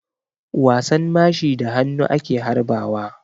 Wasan mashi da hannu ake harba wa.